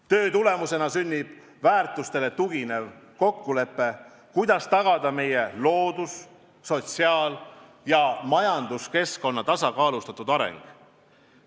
Töö tulemusena sünnib väärtustele tuginev kokkulepe, kuidas tagada meie loodus-, sotsiaal- ja majanduskeskkonna tasakaalustatud areng.